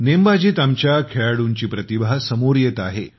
नेमबाजीत आमच्या खेळाडूंची प्रतिभा समोर येत आहे